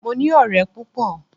Mo ní ọ̀rẹ́ púpọ̀.